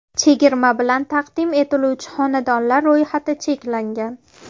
Chegirma bilan taqdim etiluvchi xonadonlar ro‘yxati cheklangan.